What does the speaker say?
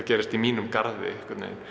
gerist í mínum garði